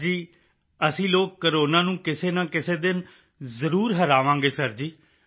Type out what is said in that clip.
sir ji ਅਸੀਂ ਲੋਕ corona ਨੂੰ ਕਿਸੇ ਨਾ ਕਿਸੇ ਦਿਨ ਜ਼ਰੂਰ ਹਰਾਵਾਂਗੇ ਸਰ ਜੀ